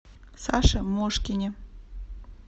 саше мошкине